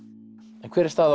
en hver er staða